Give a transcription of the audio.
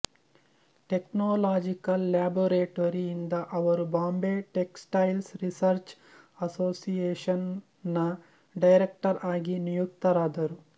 technological laboratory ಯಿಂದ ಅವರು Bombay textile research association ನ ಡೈರೆಕ್ಟರ್ ಆಗಿ ನಿಯುಕ್ತರಾದರು